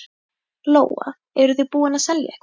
Lóa: Eruð þið búnir að selja eitthvað?